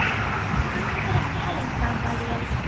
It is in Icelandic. Gangi þér allt í haginn, Gamalíel.